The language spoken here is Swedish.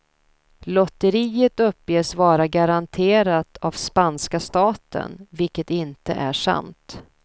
Lotteriet uppges vara garanterat av spanska staten, vilket inte är sant.